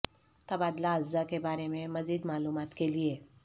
تبادلہ اجزاء کے بارے میں مزید معلومات کے لئے